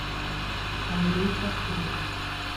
андрей пашкевич